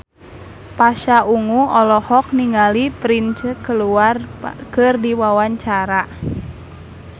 Pasha Ungu olohok ningali Prince keur diwawancara